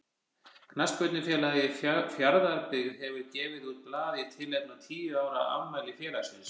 Knattspyrnufélagið Fjarðabyggð hefur gefið út blað í tilefni af tíu ára afmæli félagsins.